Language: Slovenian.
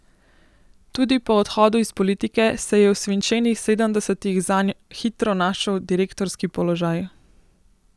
Tudi po odhodu iz politike se je v svinčenih sedemdesetih zanj hitro našel direktorski položaj.